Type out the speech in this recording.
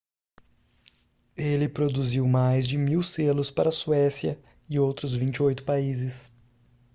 ele produziu mais de 1.000 selos para a suécia e outros 28 países